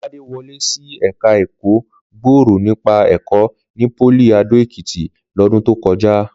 Lọ́ládé wọlé sí ẹ̀ka ẹ̀kọ́ gbòòrò nípa ẹ̀kọ́ ní pólì Adó-Èkìtì lọ́dún tó kọjá